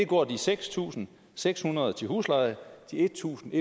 går de seks tusind seks hundrede kroner til husleje og de en tusind